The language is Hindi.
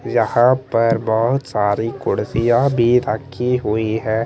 यहाँ पर बहोत सारी कुर्सियां भी रखी हुई हैं।